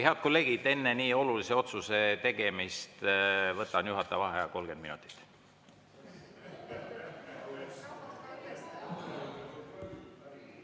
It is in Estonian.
Head kolleegid, enne nii olulise otsuse tegemist võtan juhataja vaheaja 30 minutit.